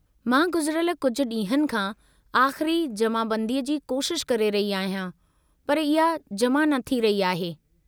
मां गुज़िरियल कुझु ॾींहनि खां आख़िरी जमाबंदीअ जी कोशिश करे रही आहियां, पर इहा जमा न थी रही आहे।